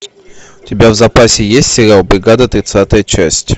у тебя в запасе есть сериал бригада тридцатая часть